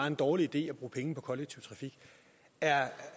en dårlig idé at bruge penge på kollektiv trafik er